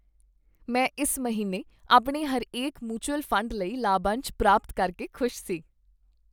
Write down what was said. ਮੈਂ ਇਸ ਮਹੀਨੇ ਆਪਣੇ ਹਰੇਕ ਮਿਉਚੁਅਲ ਫੰਡ ਲਈ ਲਾਭਅੰਸ਼ ਪ੍ਰਾਪਤ ਕਰਕੇ ਖੁਸ਼ ਸੀ।